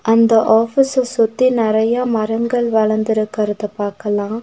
அந்த ஆபீஸ்ஸ சுத்தி நெறையா மரங்கள் வளந்திருக்கற்த பாக்கலா.